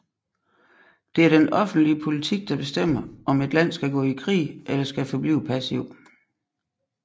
Det er den offentlige politik der bestemmer om et land skal gå i krig eller skal forblive passiv